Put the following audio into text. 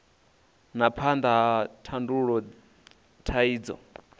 na phambano vha tandulula thaidzo